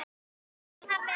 Takk fyrir pabbi.